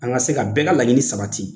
An ka se ka bɛɛ ka laɲini sabati.